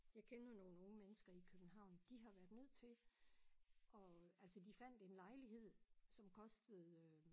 Jeg kender nogle unge mennesker i København de har været nødt til og altså de fandt en lejlighed som kostede